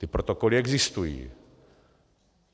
Ty protokoly existují.